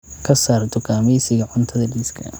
Ka saar dukaamaysiga cuntada liiska